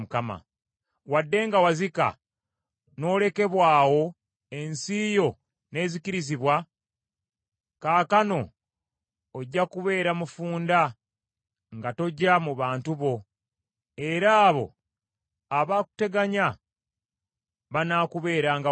“Wadde nga wazika n’olekebwa awo ensi yo n’ezikirizibwa, kaakano ojja kubeera mufunda nga toja mu bantu bo, era abo abakuteganya banaakubeeranga wala.